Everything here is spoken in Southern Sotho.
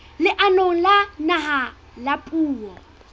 leanong la naha la puo